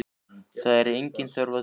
Það er engin þörf á því.